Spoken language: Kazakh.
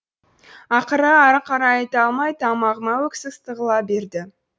ақыры ары қарай айта алмай тамағыма өксік тығыла берді